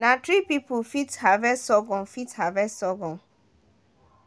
na three people dey fit harvest surghum fit harvest surghum